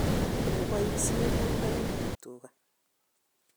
koboishen kuinoik ab tuga.